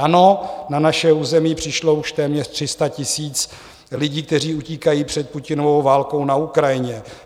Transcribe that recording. Ano, na naše území přišlo už téměř 300 tisíc lidí, kteří utíkají před Putinovou válkou na Ukrajině.